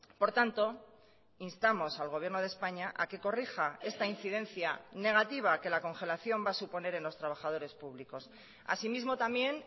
por tanto instamos al gobierno de españa a que corrija esta incidencia negativa que la congelación va a suponer en los trabajadores públicos asimismo también